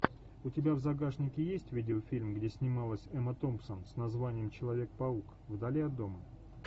у тебя в загашнике есть видеофильм где снималась эмма томпсон с названием человек паук вдали от дома